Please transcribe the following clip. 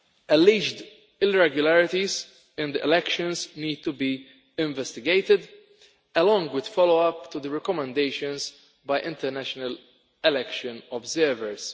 Alleged irregularities in the elections need to be investigated, along with follow up to the recommendations by international election observers.